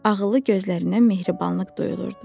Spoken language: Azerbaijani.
Ağıllı gözlərindən mehribanlıq duyulurdu.